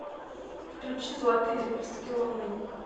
включи золотые лепестки луны